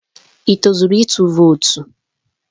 Ị tozuru ịtụ vootu?